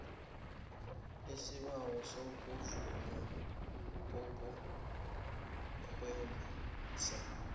isibawo sokuvunywa kokurhemisa